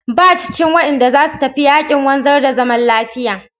Ba shi cikin waɗanda za su tafi yaƙin wanzar da zaman lafiya.